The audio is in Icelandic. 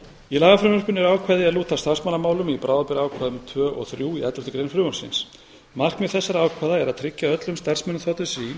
í lagafrumvarpinu eru ákvæði er lúta að starfsmannamálum í bráðabirgðaákvæðum tvö og þrjú í elleftu grein frumvarpsins markmið þessara ákvæða er að tryggja öllum starfsmönnum þ s s í